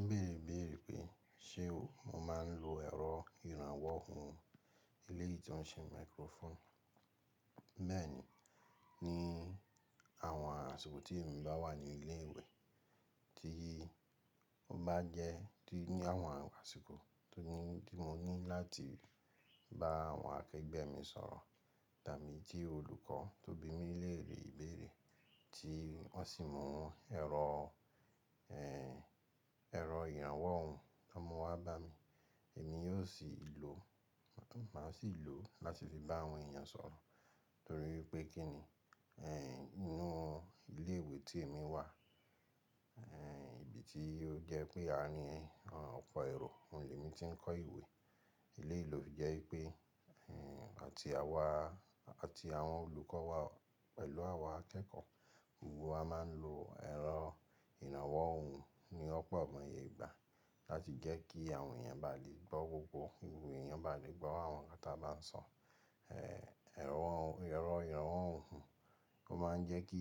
Mo bèèrè bèèrè pé ṣe mo máa ń lo ẹ̀rọ ìrànwọ́ ohùn elé yìí tó ń ṣe microphone. Bẹ́ẹ̀ ni, ní àwọn àsìkò tí èmi bá wà ní ilé ìwé tí mo bá jẹ́ tí ní àwọn àsìkò tó ní tí mo ní láti bá àwọn akẹgbẹ́ mi sọ̀rọ̀ tàbí tí olùkọ́ tó bí mi léèrè ìbéèrè tí wọ́n sì mú ẹ̀rọ, ẹ̀rọ ìrànwọ́ ohùn wọn mu wá bá mi, èmi yóò sì lò, màá sì lò ó láti fi bá àwọn èèyàn sọ̀rọ̀ torí pé kí ni, ẹ́ inú ilé ìwé tí èmi wà, ẹ́ ibi tí ó jẹ́ pé àárín ọpọ̀ èrò, òun ni èmi tí ń kọ́ ìwé. Elé lò fi jẹ́ pé, ẹ́ àti àwa àti àwọn olùkọ́ wa pẹ̀lú awa akẹ́kọ̀ọ́, gbogbo wa máa ń lo ẹ̀rọ ìrànwọ́ ohùn ní ọ̀pọ̀ amọ̀yegbà láti jẹ́ kí àwọn èèyàn bá lè gbọ́ gbogbo, gbogbo èèyàn bá lè gbọ́ àwọn nǹkan tí a bá ń sọ. Ẹ̀rọ ìrànwọ́ ohùn, ó máa ń jẹ́ kí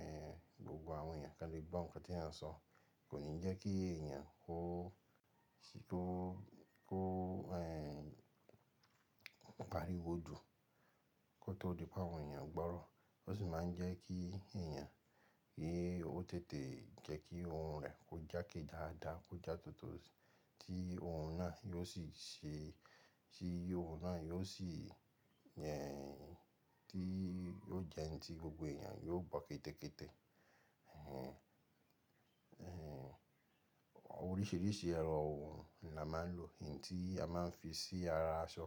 ẹ́ gbogbo àwọn èèyàn kí wọ́n lè gbọ́ ǹkan tí èèyàn ń sọ, kò ní jẹ́ kí èèyàn kó, kó, kó ẹ́ paríwó jù kó tó di pé àwọn èèyàn gbọ́rọ̀. Ó sì máa ń jẹ́ kí èèyàn, ki ó tètè jẹ́ kí ohun rẹ̀ kó jáke dáadáa, kó já tótò tí ohun náà yóò sì ṣe, tí ohun náà yóò sì ẹ́ tí yóò jẹ́ ǹ tí gbogbo èèyàn yóò gbọ́ kété kété. Ẹ̀hẹ̀n ẹ́ oríṣiríṣi ẹ̀rọ ohùn ni a máa ń lò. N tí a máa ń fi sí ara aṣọ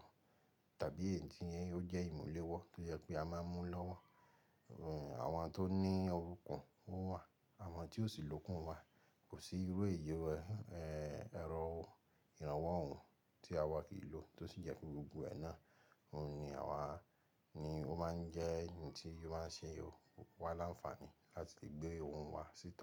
tàbí eyí tí ó jẹ́ ìmùlẹ̀wọ́ tó jẹ́ pé a máa ń mú lọ́wọ́. Ẹ̀hùn àwọn tó ní ookún wọ́n wà, àwọn tí ó sì lókun wà. Kò sí irú èèyàn ẹ́ ẹ̀rọ ìrànwọ́ ohùn tí àwa kì í lò tó sì jẹ́ pé gbogbo ẹ̀ nà òun ni àwa ni ó máa ń jẹ́ ǹ tí ó máa ń ṣe wá láǹfààní láti lè gbé ohùn wa síta.